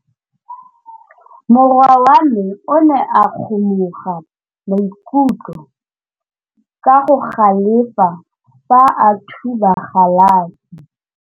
Morwa wa me o ne a kgomoga maikutlo ka go galefa fa a thuba galase.